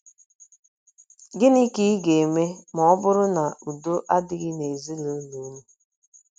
GỊNỊ ka ị ga - eme ma ọ bụrụ na udo adịghị n’ezinụlọ unu?